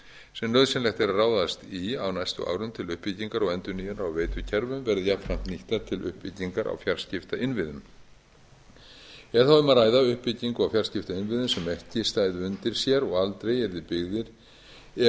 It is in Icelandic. sem nauðsynlegt er að ráðast í á næstu árum til uppbyggingar og endurnýjunar á veitukerfum verði jafnframt nýttar til uppbyggingar á fjarskiptainnviðum er þá um að ræða uppbyggingu á fjarskiptainnviðum sem ekki stæðu undir sér og aldrei yrði byggðir ef